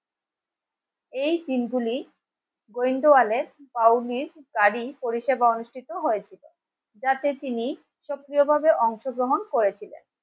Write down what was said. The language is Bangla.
এই দিনগুলি গোয়েন্দাদের পাওনি গাড়ি পরিষেবা অনুষ্ঠিত হয়েছে. যাতে তিনি সক্রিয়ভাবে অংশগ্রহণ করেছিলেন